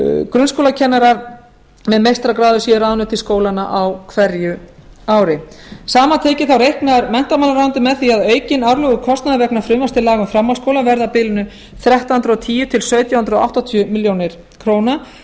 grunnskólakennarar með meistaragráðu séu ráðnir til skólanna á hverju ári samantekið reiknar menntamálaráðuneytið með því að aukinn árlegur kostnaður vegna frumvarps til laga um framhaldsskóla verði á bilinu þrettán hundruð og tíu til sautján hundruð áttatíu milljónir króna